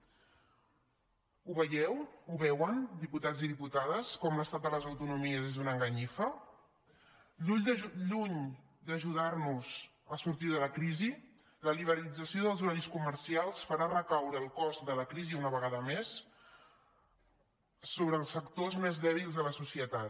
ho veieu ho veuen diputats i diputades com l’estat de les autonomies és una enganyifa lluny d’ajudar nos a sortir de la crisi la liberalització dels horaris comercials farà recaure el cost de la crisi una vegada més sobre els sectors més dèbils de la societat